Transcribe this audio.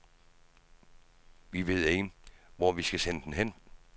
Vi ved ikke, hvor vi skal sende den hen.